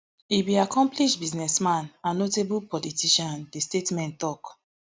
e be accomplish businessman and notable politician di statement tok